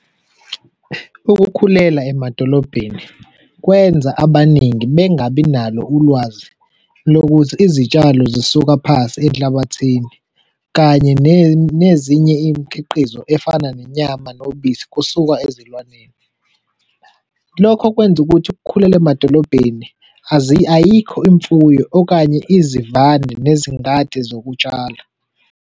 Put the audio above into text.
Ukukhulela emadolobheni kwenza abaningi bengabi nalo ulwazi lokuthi izitshalo zisuka phasi enhlabathini kanye nezinye imikhiqizo efana nenyama nobisi kusuka ezilwaneni. Lokho kwenza ukuthi ukukhulela emadolobheni ayikho imfuyo okanye izivande nezingadi zokutshala.